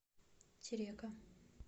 терека